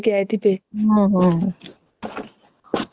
ମନ ପସନ୍ଦ ର ଧରିକୀ ଆସିଥିବେ ଦେଖିଲା ମାତ୍ରେ ପୁରା ଖୁସି